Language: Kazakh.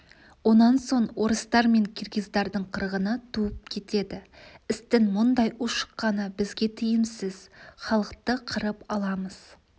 онан соң орыстар мен киргиздардың қырғыны туып кетеді істің мұндай ушыққаны бізге тиімсіз халықты қырып аламыз